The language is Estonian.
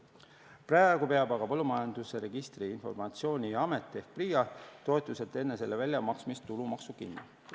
Praegu peab aga Põllumajanduse Registrite ja Informatsiooni Amet ehk PRIA toetuselt enne selle väljamaksmist tulumaksu kinni.